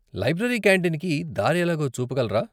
Library కాంటీన్‌కి దారి ఎలాగో చూపగలరా?